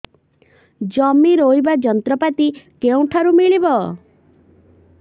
ଜମି ରୋଇବା ଯନ୍ତ୍ରପାତି କେଉଁଠାରୁ ମିଳିବ